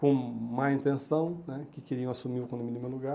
com má intenção né, que queriam assumir o condomínio no meu lugar.